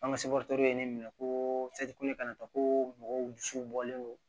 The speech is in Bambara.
An ka ye ne minɛ ko ko mɔgɔw dusu bɔlen don